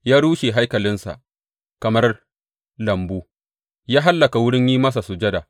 Ya rushe haikalinsa kamar lambu; ya hallaka wurin yi masa sujada.